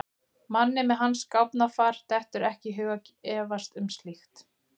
Manni með hans gáfnafar dettur ekki í hug að efast um slíkt.